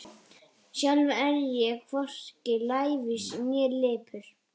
Sjálf er ég hvorki lævís né lipur.